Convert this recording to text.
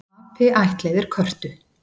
Api ættleiðir körtu